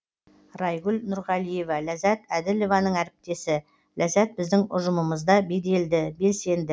райгүл нұрғалиева ләззат әділованың әріптесі ләззат біздің ұжымымызда беделді белсенді